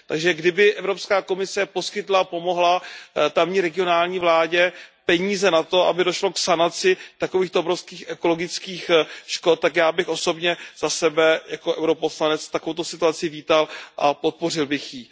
Takže kdyby Evropská komise poskytla tamní regionální vládě peníze na to, aby došlo k sanaci takovýchto obrovských ekologických škod, tak já bych osobně za sebe jako poslance EP takovouto situaci vítal a podpořil bych ji.